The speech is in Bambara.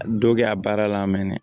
Dɔ kɛ a baara la a mɛn na